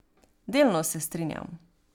Delno se strinjam.